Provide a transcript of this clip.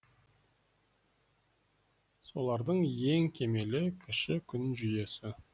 солардың ең кемелі кіші күн жүйесі